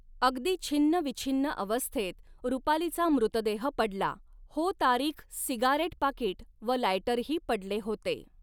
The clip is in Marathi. अगदी छिन्नविछिन्न अवस्थेत रूपालीचा मृतदेह पडला हो तारीख सिगारेट पाकीट व लायटरही पडले होते.